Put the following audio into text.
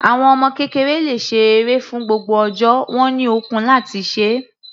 Àwọn ọmọ kékeré le ṣe eré fún gbogbo ọjọ́, wọ́n ní ọkun láti se é.